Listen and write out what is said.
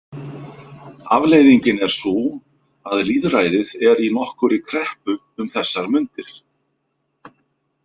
Afleiðingin er sú að lýðræðið er í nokkurri kreppu um þessar mundir.